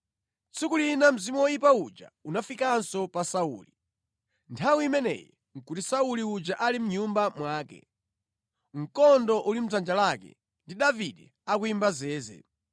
Tsiku lina mzimu woyipa uja unafikanso pa Sauli. Nthawi imeneyi nʼkuti Sauli uja ali mʼnyumba mwake, mkondo uli mʼdzanja lake ndi Davide akuyimba zeze,